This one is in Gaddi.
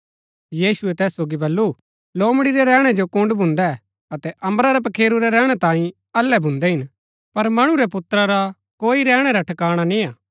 यीशुऐ तैस सोगी बल्लू लोमड़ी रै रैहणै जो कूड्‍ड भून्दै अतै अम्बरा रै पखेरू रै रैहणै तांई अल्लै भून्दै हिन पर मणु रै पुत्रा रा कोई रैहणै रा ठकाणा निय्आ